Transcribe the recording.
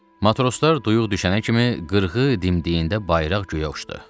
Matroslar duyuq düşənə kimi qırğı dimdiyində bayraq göyə uçdu.